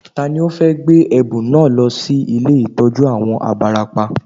Tani ó fẹ́ gbé ẹ̀bùn náà lọ sí ilé ìtọ́jú àwọn abarapá